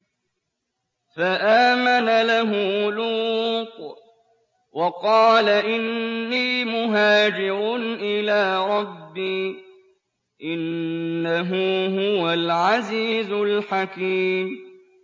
۞ فَآمَنَ لَهُ لُوطٌ ۘ وَقَالَ إِنِّي مُهَاجِرٌ إِلَىٰ رَبِّي ۖ إِنَّهُ هُوَ الْعَزِيزُ الْحَكِيمُ